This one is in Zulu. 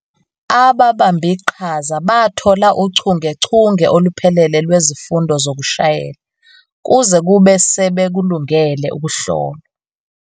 Ababambiqhaza bathola uchungechunge oluphelele lwezifundo zokushayela, kuze kube sebekulungele ukuhlolwa.